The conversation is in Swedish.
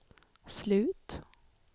slut